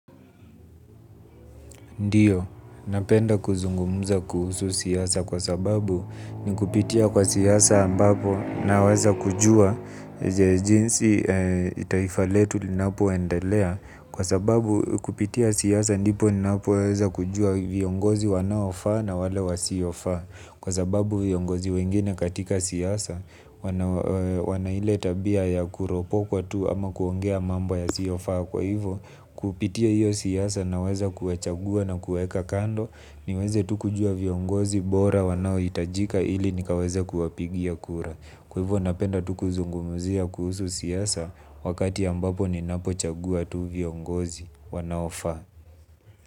Ndiyo, napenda kuzungumuza kuhusu siasa kwa sababu ni kupitia kwa siasa ambapo naweza kujua jinsi taifa letu linapoendelea kwa sababqu kupitia siasa ndipo napoweza kujua viongozi wanaofaa na wale wasiofaa kwa sababu viongozi wengine katika siasa wana ile tabia ya kuropokwa tu ama kuongea mambo yasiyofaa kwa hivo kupitia hiyo siasa naweza kuwachagua na kuwaeka kando niweze tu kujua viongozi bora wanaohitajika ili nikaweze kuwapigia kura kwa hivo napenda tu kuzungumuzia kuhusu siasa wakati ambapo ninapo chagua tu viongozi wanaofaa.